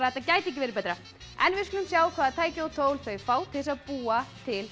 þetta gæti ekki verið betra en við skulum sjá hvaða tæki og tól þau fá til þess að búa til